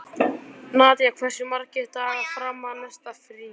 Nadia, hversu margir dagar fram að næsta fríi?